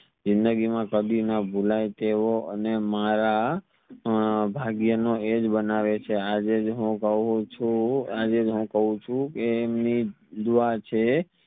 જિંદગી માં કદી ન ભુલાઈ તેવો અને મારા અ ભાગિય નો એજ્જ બનાવે છે આજે જ હું કાવ છું આજેજ હું કવ છું કે એમની જ દુઆ છે